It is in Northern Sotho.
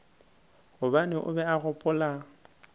gobane o be a gopola